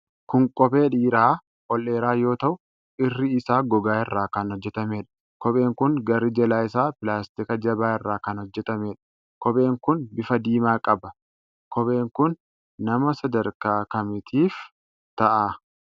Kun kophee dhiiraa ol dheeraa yoo ta'u irri isaa gogaa irraa kan hojjatameedha. Kopheen kun garri jalaa isaa pilaastika jabaa irraa kan hojjatamedha. Kopheen kun bifa diimaa qaba. Kopheen kun nama sadarkaa kamiitiif ta'a?